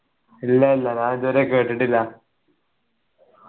ഇല്ല ഇല്ല ഞാനിതുവരെ കേട്ടിട്ടില്ല